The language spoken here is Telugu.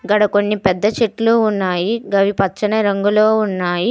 గాడ కొన్ని పెద్ద చెట్లు ఉన్నాయి. గవ్వి పచ్చని రంగులో ఉన్నాయి.